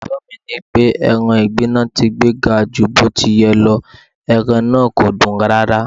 Òótọ́ mi nipé, ẹran ìgbín ni wón ti gbé ga ju bó ti yẹ lọ, ẹran na kòdùn rárá.